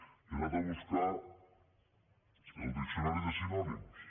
i he anat a buscar el diccionari de sinònims